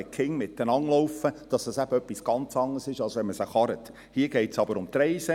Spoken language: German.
Es ist etwas ganz anderes, wenn Kinder miteinander gehen, als wenn sie mit dem Auto zur Schule gekarrt werden.